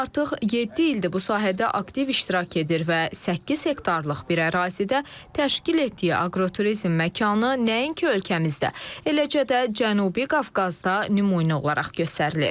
Artıq yeddi ildir bu sahədə aktiv iştirak edir və səkkiz hektarlıq bir ərazidə təşkil etdiyi aqroturizm məkanı nəinki ölkəmizdə, eləcə də Cənubi Qafqazda nümunə olaraq göstərilir.